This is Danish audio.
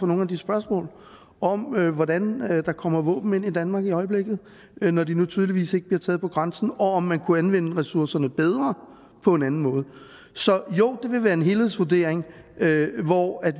nogle af de spørgsmål om hvordan der kommer våben ind i danmark i øjeblikket når de nu tydeligvis ikke bliver taget på grænsen og om man kunne anvende ressourcerne bedre på en anden måde så jo det vil være en helhedsvurdering hvor